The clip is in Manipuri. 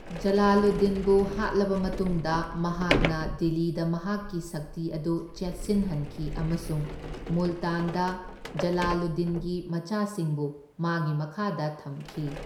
ꯖꯂꯥꯂꯨꯗꯗꯤꯟꯕꯨ ꯍꯥꯠꯂꯕ ꯃꯇꯨꯡꯗ ꯃꯍꯥꯛꯅ ꯗꯤꯜꯂꯤꯗ ꯃꯍꯥꯛꯀꯤ ꯁꯛꯇꯤ ꯑꯗꯨ ꯆꯦꯠꯁꯤꯜꯍꯟꯈꯤ ꯑꯃꯁꯨꯡ ꯃꯨꯜꯇꯥꯟꯗ ꯖꯂꯥꯂꯨꯗꯗꯤꯟꯒꯤ ꯃꯆꯥꯁꯤꯡꯕꯨ ꯃꯥꯒꯤ ꯃꯈꯥꯗ ꯊꯝꯈꯤ꯫